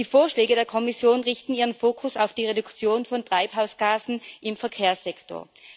Die Vorschläge der Kommission richten ihren Fokus auf die Reduktion von Treibhausgasen im Verkehrssektor.